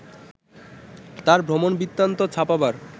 তার ভ্রমণ বৃত্তান্ত ছাপবার